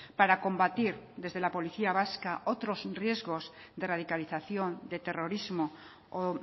para combatir desde la policía vasca otros riesgos de radicalización de terrorismo o